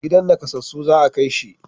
Gidan nakassasu za a kai shi